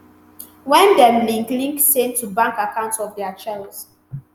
wen dem link link same to bank accounts of dia choice